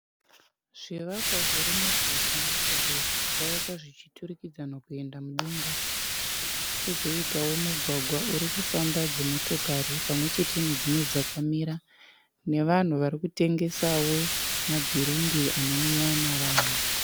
Zvivakwa zviri muguta izvo zvakavakwa zvichiturikidzana kuenda mudenga kwozoitawo mugwagwa uri kufamba dzimotokari pamwe chete nedzimwe dzakamira nevanhu vari kutengesawo madhiringi anonwiwa navanhu.